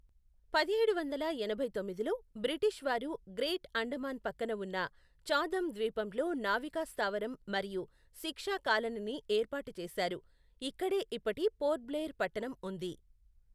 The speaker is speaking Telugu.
పదిహేడు వందల ఎనభై తొమ్మిదిలో బ్రిటీష్ వారు గ్రేట్ అండమాన్ పక్కన ఉన్న చాథమ్ ద్వీపంలో నావికా స్థావరం మరియు శిక్షా కాలనీని ఏర్పాటు చేశారు, ఇక్కడే ఇప్పటి పోర్ట్బ్లెయిర్ పట్టణం ఉంది.